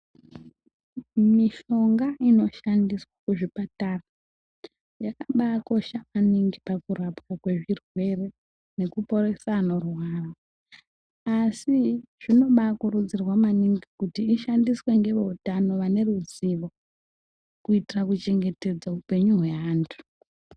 Mishonga inoshandiswa kuzvipatara, yakambaakosha maningi pakurapwa kwezvirwere nokuporesa anorwara. Asi zvinobaakurudzirwa maningi kuti ishandiswe ngeveutano vane ruzivo, kuitire kuchengetedza upenyu hweantu.